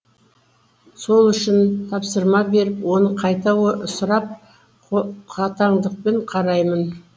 сол үшін тапсырма беріп оны қайта сұрап қатаңдықпен қараймын